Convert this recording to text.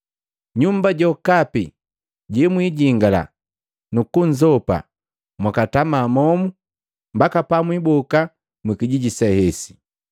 Nyumba jokapi jemwijingala nukunzopa, mwakatama momu mbaka pamwiboka mwikijiji se hesi.